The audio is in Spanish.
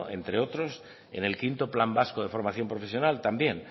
entre otros en el quinto plan vasco de formación profesional también